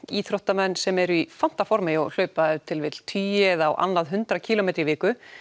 íþróttamenn sem eru í fantaformi og hlaupa ef til vill tugi eða á annað hundrað kílómetra í viku